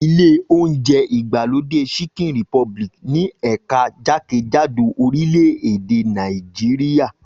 Ilé oúnjẹ ìgbàlódé Chicken Republic ní ẹ̀ka jákèjádò orílẹ̀ èdè Nàìjíríà